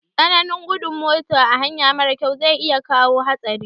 Tsananin gudun mota a hanya marar kyau za iya kawo hatsari